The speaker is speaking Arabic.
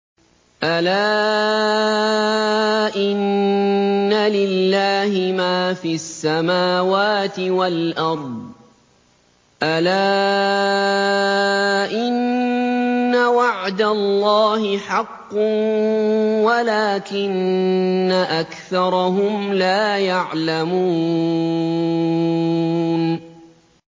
أَلَا إِنَّ لِلَّهِ مَا فِي السَّمَاوَاتِ وَالْأَرْضِ ۗ أَلَا إِنَّ وَعْدَ اللَّهِ حَقٌّ وَلَٰكِنَّ أَكْثَرَهُمْ لَا يَعْلَمُونَ